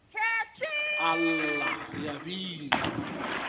a lla re a bina